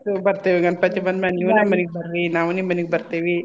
ಆಯ್ತ್ ಬರ್ತೇವಿ ಗಣ್ಪತಿ ಬಂದ್ಮ್ಯಾಲೆ ನೀವು ನಮ್ ಮನಿಗ್ ಬರ್ರಿ ನಾವು ನಿಮ್ ಮನಿಗ್ ಬರ್ತೇವೀ.